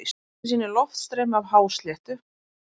Mynd sem sýnir loftstreymi af hásléttu.